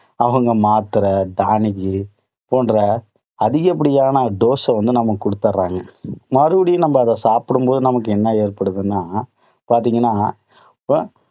அவங்க மாத்திரை டானிக்கு போன்ற அதிகப்படியான dose அ வந்து நமக்கு கொடுத்துடுறாங்க. மறுபடியும் நம்ம அதை சாப்பிடும் போது நமக்கு என்ன ஏற்படுதுன்னா பார்த்தீங்கன்னா,